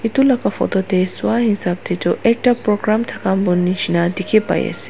etu laga photo teh soa hisab teh tu ekta programme thka mai nisna dikhi pa ise.